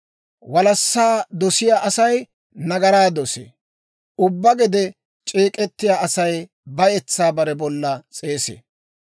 Walassaa dosiyaa Asay nagaraa dosee; ubbaa gede c'eek'ettiyaa Asay bayetsaa bare bolla s'eesee.